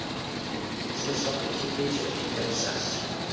Utan hjónabandsins átti kynlíf sér engan sess.